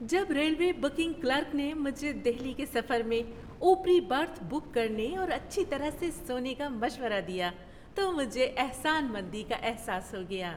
جب railway booking clerk نے مجھے دہلی کے سفر میں اوپری برتھ بک کرنے اور اچھی طرح سے سونے کا مشورہ دیا تو مجھے احسان مندی کا احساس ہو گیا۔